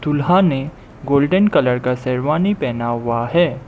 दूल्हा ने golden colour का शेरवानी पहना हुआ है।